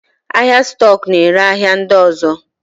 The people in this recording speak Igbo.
Ahịa stọk na-ere ahịa ndị ọzọ.